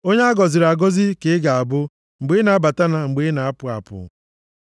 Onye a gọziri agọzi ka ị ga-abụ mgbe ị na-abata na mgbe ị na-apụ apụ.